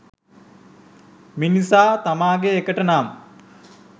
මිනිසා තමාගේ එකට නම්